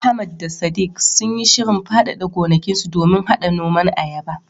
Ahmad da Sadiq sun yi shirin faɗaɗa gonakinsu domin haɗa noman ayaba.